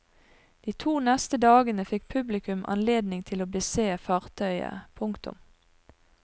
De to neste dagene fikk publikum anledning til å bese fartøyet. punktum